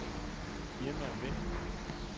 Irma Vind